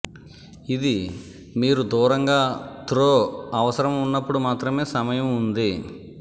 ఇది మీరు దూరంగా త్రో అవసరం ఉన్నప్పుడు మాత్రమే సమయం ఉంది